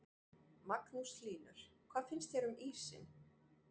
Magnús Hlynur: Hvað finnst þér um ísinn?